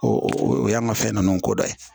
O o y'an ka fɛn nunnu ko dɔ ye